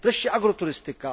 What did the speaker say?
Wreszcie agroturystyka.